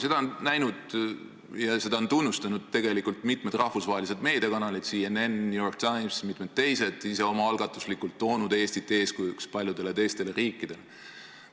Seda on näinud ja tunnustanud mitmed rahvusvahelised meediakanalid, nagu CNN, New York Times ja mitmed teised, kes on ise omaalgatuslikult toonud Eestit eeskujuks paljudele teistele riikidele.